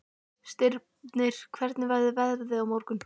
Stirnir, hvernig verður veðrið á morgun?